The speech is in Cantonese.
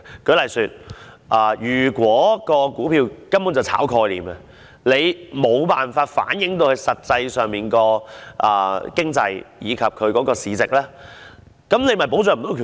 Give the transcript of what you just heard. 舉例而言，如果某些股票根本是炒賣概念，而致無法反映實際的經濟及市值，便無法保障股民權益。